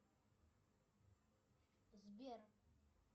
сбер